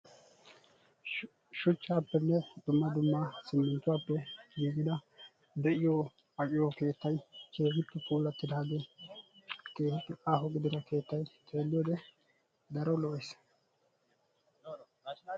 Shuchchaappenne dumma dumma simminttuwappe giigida de"iyo aqiyo keettayi keehippe puulattidaagee keehippe aaho gidida keettayi xeelliyode daro lo"es.